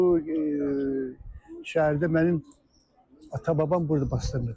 Bu şəhərdə mənim atam-babam burda basdırılıb.